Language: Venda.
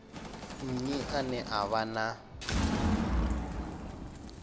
nnyi ane a vha na